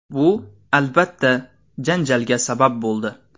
Bu, albatta, janjalga sabab bo‘ldi.